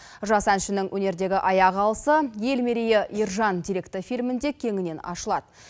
жас әншінің өнердегі аяқ алысы ел мерейі ержан деректі фильмінде кеңінен ашылады